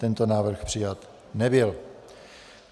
Tento návrh přijat nebyl.